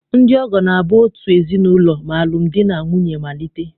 Ndị ọgọ na-abụ out ezinaụlọ ma alụm di na nwunye malite.